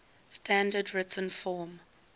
standard written form